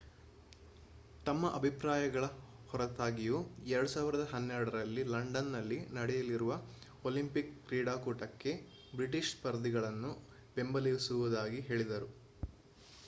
ತಮ್ಮ ಅಭಿಪ್ರಾಯಗಳ ಹೊರತಾಗಿಯೂ 2012 ರಲ್ಲಿ ಲಂಡನ್‌ನಲ್ಲಿ ನಡೆಯಲಿರುವ ಒಲಿಂಪಿಕ್ ಕ್ರೀಡಾಕೂಟಕ್ಕೆ ಬ್ರಿಟಿಷ್ ಸ್ಪರ್ಧಿಗಳನ್ನು ಬೆಂಬಲಿಸುವುದಾಗಿ ಹೇಳಿದರು